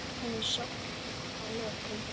Þannig sofnaði hann að lokum.